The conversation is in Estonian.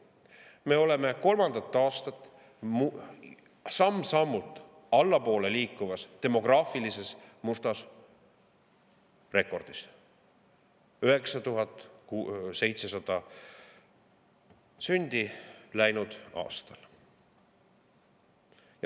Me oleme kolmandat aastat samm-sammult allapoole liikuvas demograafilises mustas rekordis: 9700 sündi läinud aastal.